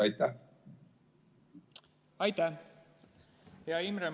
Hea Imre!